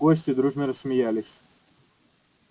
гости дружно рассмеялись